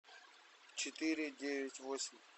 четыре девять восемь